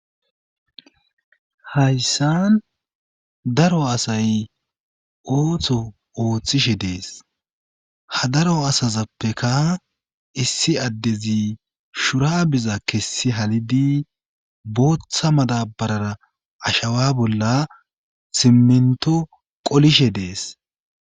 Hayssan daro asay ooththo ooththishe dees ha daro asazappeka issi addezi shura biza kessi halidi booththa madabarara ashawa bolla simminto qolishe dees.